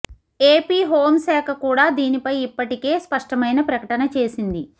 AP home శాఖ కూడా దీనిపై ఇప్పటికే స్పష్టమైన ప్రకటన చేసింది